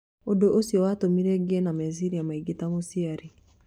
ũndũ ũcio watũmire ngĩe na meciria maingĩ ta mũciari."